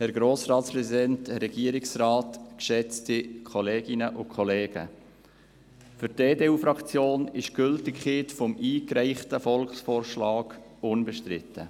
Für die EDU-Fraktion ist die Gültigkeit des eingereichten Volksvorschlags unbestritten.